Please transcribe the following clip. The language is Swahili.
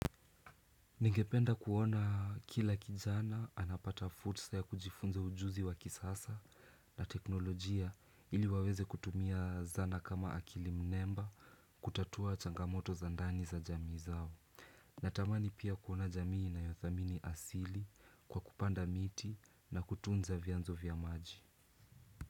Ningependa kuona kila kijana anapata fursa ya kujifunza ujuzi wa kisasa na teknolojia ili waweze kutumia zana kama akili mnemba kutatua changamoto za ndani za jamii zao. Natamani pia kuona jamii inayothamini asili kwa kupanda miti na kutunza vyanzo vya maji.